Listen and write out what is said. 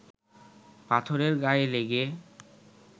পাথরের গায়ে লেগে